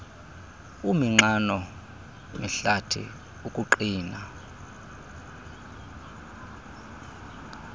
uminxano mihlathi ukuqina